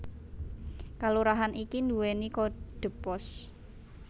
Kalurahan iki nduwèni kodhe pos